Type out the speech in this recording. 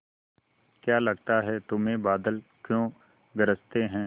क्या लगता है तुम्हें बादल क्यों गरजते हैं